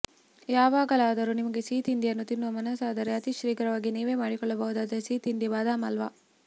ಯಾವಾಗಲಾದರೂ ನಿಮಗೆ ಸಿಹಿ ತಿಂಡಿಯನ್ನು ತಿನ್ನುವ ಮನಸಾದರೆ ಅತಿ ಶೀಘ್ರವಾಗಿ ನೀವೇ ಮಾಡಿಕೊಳ್ಳಬಹುದಾದ ಸಿಹಿ ತಿಂಡಿ ಬಾದಾಮ್ ಹಲ್ವಾ